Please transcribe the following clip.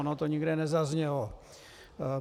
Ono to nikde nezaznělo.